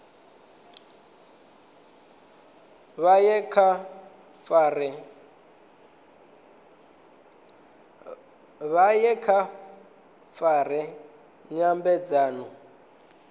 vha ye vha fare nyambedzano